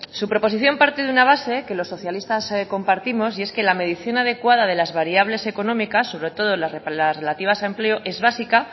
su proposición parte de una base que los socialistas compartimos y es que la medición adecuada de las variables económicas sobre todo las relativas a empleo es básica